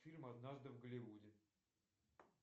фильм однажды в голливуде